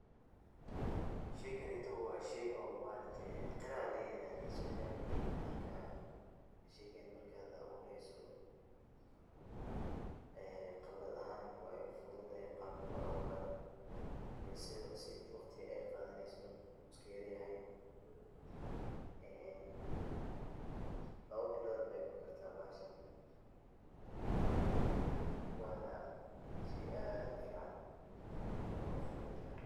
Sheyganeyto wa sheyga maaragte qaraha layirahdo, marka sheygan marka abureyso qibrad ahaan wey fududahay qabka loaburayo iyo waqtiga ey qadaneyso wu iskayaryahay. Lawa bilood ayey kukarta bahashan wana shey aad ufican oo furud ah.